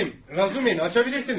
Razumixin, açın.